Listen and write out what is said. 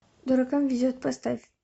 дуракам везет поставь